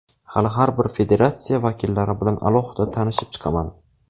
Hali har bir federatsiya vakillari bilan alohida tanishib chiqaman.